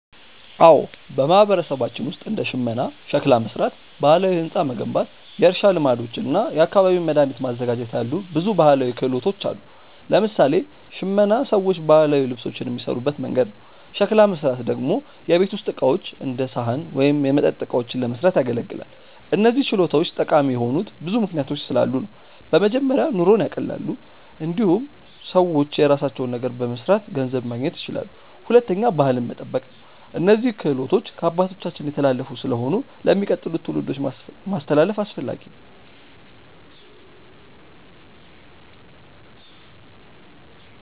አዎ፣ በማህበረሰባችን ውስጥ እንደ ሽመና፣ ሸክላ መሥራት፣ ባህላዊ ሕንፃ መገንባት፣ የእርሻ ልማዶች እና የአካባቢ መድኃኒት ማዘጋጀት ያሉ ብዙ ባህላዊ ክህሎቶች አሉ። ለምሳሌ ሽመና ሰዎች ባህላዊ ልብሶችን የሚሠሩበት መንገድ ነው። ሸክላ መሥራት ደግሞ የቤት ውስጥ ዕቃዎች እንደ ሳህን ወይም የመጠጥ እቃዎችን ለመስራት ያገለግላል። እነዚህ ችሎታዎች ጠቃሚ የሆኑት ብዙ ምክንያቶች ስላሉ ነው። በመጀመሪያ ኑሮን ያቀላሉ። እንዲሁም ሰዎች የራሳቸውን ነገር በመስራት ገንዘብ ማግኘት ይችላሉ። ሁለተኛ ባህልን መጠበቅ ነው፤ እነዚህ ክህሎቶች ከአባቶቻችን የተላለፉ ስለሆኑ ለሚቀጥሉት ትውልዶች ማስተላለፍ አስፈላጊ ነው።